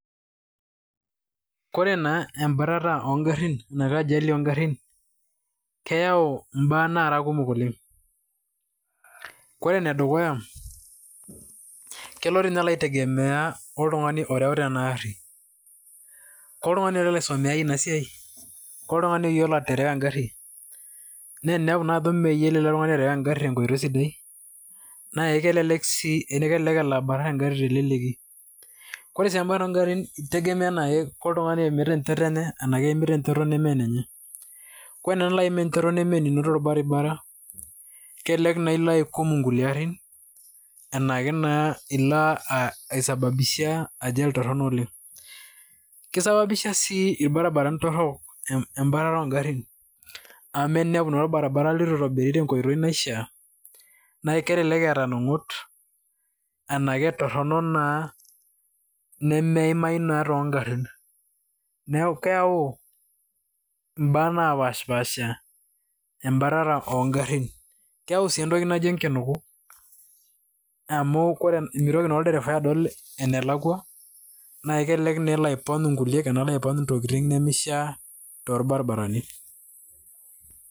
Koree naa embatata ongarin ashu ajali ongarin, keyau mbaa nara kumok oleng, ore enedukuya, kelo toinye alo aitegemea anaa oltungani oreuta enaari ,koree oltungani olo asomea inasiai ore oltungani oyiolo aterewa engari na eninepu ajo meyiolo ele tungani aterewa engari tenkoitoi sidai na kelelek si elabatat engari teleleki ,ore si embatata ongarin na keitegemea anaa keimita enchoto enye anaa keimita enchoto nemaa enenye, ore tinilo aim enchoto namaenino tolbaribara kelelek naa ilo aikum nkulie arin arashu ilo aisababisha ajali .Keisababisha sii irbaribarani torok empataro ongarin a teninepu naa orbaribara lituitobiri tenkoitoi naishaa na kelelek eeta ngumot naketorok naa nemeimai naa tongarin neaku keyau imbaa naapasha embatata ongarin ,keyau si entoki naji enkinuku amu mitoki naa olderefau adol dukuya nakelelek naa elo aipony ngulie tolbaribarani.